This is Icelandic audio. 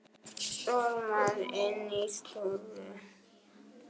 Stormar inn í stofu.